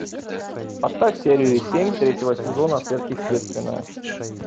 поставь серию семь третьего сезона сверхъестественное